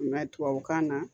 tubabukan na